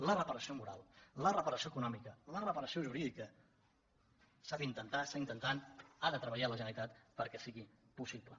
la reparació moral la reparació econòmica la reparació jurídica s’han d’intentar ha de treballar la generalitat perquè siguin possibles